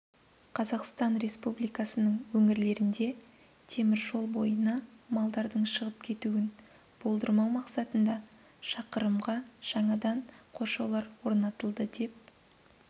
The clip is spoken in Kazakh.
қазақстан республикасының өңірлерінде темір жол бойына малдардың шығып кетуін болдырмау мақсатында шақырымға жаңадан қоршаулар орнатылды деп